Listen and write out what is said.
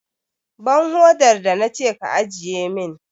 Ban hodar da na ce ka ajiye!